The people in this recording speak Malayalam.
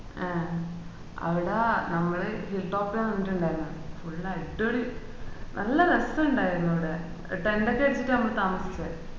ഏഹ് അവിട നമ്മള് hilltop ലാ നിന്നിട്ട്ണ്ടർന്നേ full അഡ്വളി നല്ല രസാൻഡേർന്ന് അവിടെ tent ഒക്കെ എടുത്തിട്ട ഞമ്മള് താമസിച്ചേ